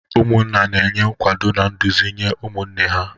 Ụmụnna na-enye nkwado, na nduzi nye ụmụnne ha..